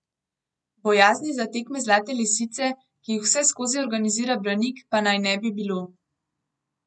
Bojazni za tekme Zlate lisice, ki jih vseskozi organizira Branik, pa naj ne bi bilo.